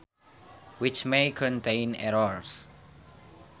Which may contain errors